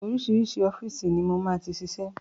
Oríṣiríṣi ọ́fíìsì ni mo máa ti ṣiṣẹ́.